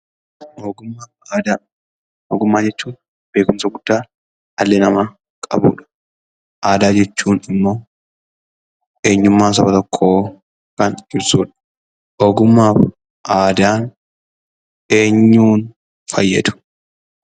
Ogummaa fi Aadaa Ogummaa jechuun beekumsa guddaa dhalli namaa qabuu dha. Aadaa jechuun immoo eenyummaa saba tokkoo kan ibsuudha. Ogummaa fi aadaan eenyuun fayyadu?